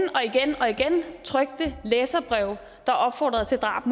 trykte læserbreve der opfordrede til drab